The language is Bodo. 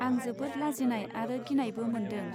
आं जोबोत लाजिनाय आरो गिनायबो मोन्दों.